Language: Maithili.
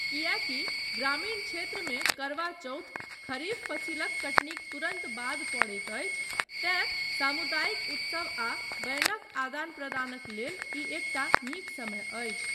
किएकी ग्रामीण क्षेत्रमे करवा चौथ खरीफ फसिलक कटनीक तुरन्त बाद पड़ैत अछि तेँ, सामुदायिक उत्सव आ बैनक आदान प्रदानक लेल ई एकटा नीक समय अछि।